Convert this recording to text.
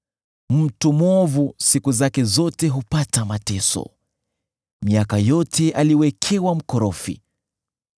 Mtu mwovu siku zake zote hupata mateso, miaka yote aliwekewa mkorofi.